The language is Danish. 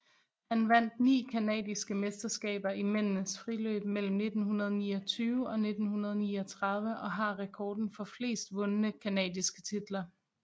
Han vandt ni canadiske meterskaber i mændenes friløb mellem 1929 og 1939 og har rekorden for flest vundne canadiske titler